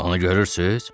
Onu görürsüz?